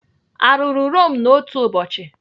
Arụrụ Rome n'otu ụbọchị?